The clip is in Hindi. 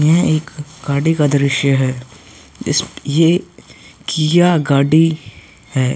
यह एक गाड़ी का दृश्य है इस ये किआ गाड़ी है।